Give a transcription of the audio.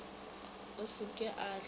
a se ke a hlwe